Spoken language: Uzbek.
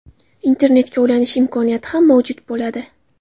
Internetga ulanish imkoniyati ham mavjud bo‘ladi.